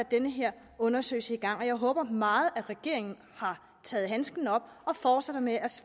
den her undersøgelse sat i gang og jeg håber meget at regeringen har taget handsken op og fortsætter med at